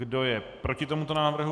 Kdo je proti tomuto návrhu?